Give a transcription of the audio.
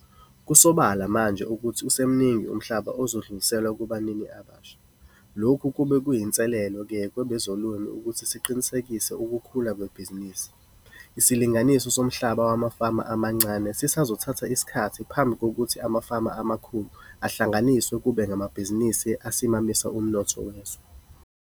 Kusobala manje ukuthi usemningi umhlaba ozodluliselwa kubanini abasha, lokhu kuba kuyinselelo-ke kwabezolimo ukuthi siqinisekise ukukhula kwebhizinisi. Isilinganiso somhlaba wamafama amancane sisazothatha isikhathi phambi kokuthi amafama amakhulu ahlanganiswe kube ngamabhizinisi asimamise umnotho wezwe.